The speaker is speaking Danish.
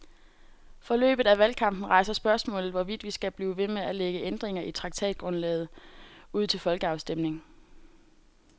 Forløbet af valgkampen rejser spørgsmålet, hvorvidt vi skal blive ved med at lægge ændringer i traktatgrundlaget ud til folkeafstemning.